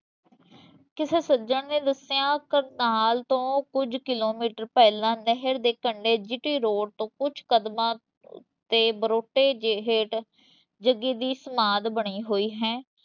ਕਿਸੇ ਸੱਜਣ ਨੇ ਦੱਸਿਆ ਕਰਨਾਲ ਤੋਂ ਕੁਝ ਕਿਲੋਮੀਟਰ ਪਹਿਲਾਂ ਨਹਿਰ ਦੇ ਕੰਡੇ GT road ਤੋਂ ਕੁੱਝ ਕਦਮਾਂ ਤੇ ਬਰੋਟੇ ਹੇਠ ਜੱਗੇ ਦੀ ਸਮਾਧ ਬਣੀ ਹੋਈ ਹੈ।